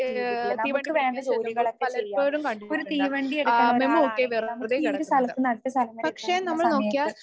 ചെയ്തിട്ടുള്ളത്. നമുക്ക് വേണ്ട ജോലികളൊക്കെ ചെയ്യാം. ഒരു തീവണ്ടിയെടുക്കണൊരാളാണെങ്കില് നമുക്കീയൊരു സ്ഥലത്തൂന്ന് അടുത്ത സ്ഥലം വരെ എത്തുന്ന സമയത്ത്